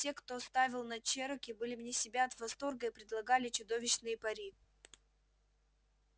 те кто ставил на чероки были вне себя от восторга и предлагали чудовищные пари